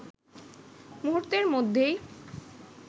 মুহূর্তের মধ্যেই